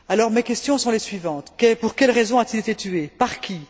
Mes questions sont les suivantes pour quelles raisons a t il été tué? Par qui?